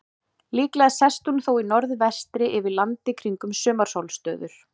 Líklega sest hún þó í norðvestri yfir landi kringum sumarsólstöður.